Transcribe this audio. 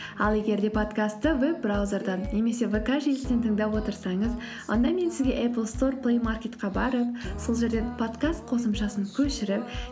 ал егер де подкастты веб браузерден немесе вк желісінен тыңдап отырсаңыз онда мен сізге эплстор плеймаркетке барып сол жерден подкаст қосымшасын көшіріп